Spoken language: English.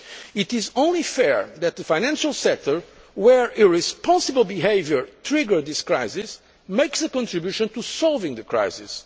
It is only fair that the financial sector, where irresponsible behaviour triggered this crisis, makes a contribution to solving the crisis.